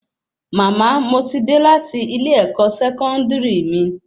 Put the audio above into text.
Mama, mo ti dé láti ilẹ ẹkọ sẹkọndiri mí